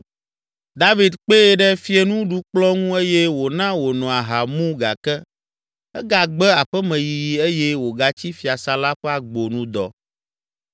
David kpee ɖe fiẽnuɖukplɔ̃ ŋu eye wòna wòno aha mu gake egagbe aƒemeyiyi eye wògatsi fiasã la ƒe agbo nu dɔ.